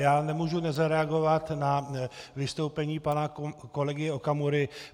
Já nemůžu nezareagovat na vystoupení pana kolegy Okamury.